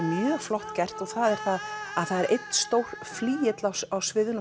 mjög flott að það er einn stór flygill á sviðinu